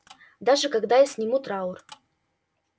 даже когда я сниму траур